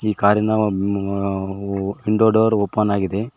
ಕಾರಿನ ಅ window door open ಆಗಿದೆ.